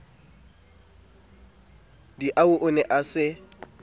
diau o ne a se